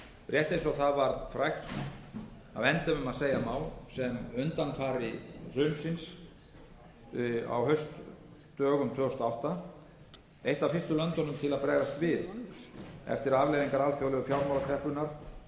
rétt eins og það varð frægt að endemum að segja má sem undanfari hrunsins á haustdögum tvö þúsund og átta eitt af fyrstu löndunum til að bregðast við eftir að afleiðingar alþjóðlegu fjármálakreppunnar